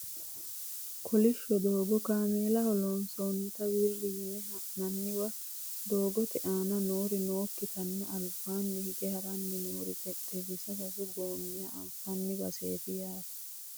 kolishsho doogo kameelaho lonsoonnita wirri yine ha'nanniwa doogote aana noori nookkitanna albaani hige haranni noore xexxerisa sasu goommiha anfanni baseeti yaate